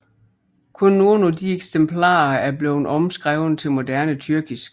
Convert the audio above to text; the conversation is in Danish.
Kun nogle af disse eksemplarer er blevet omskrevet til moderne tyrkisk